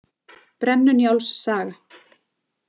Brennu- Njáls saga.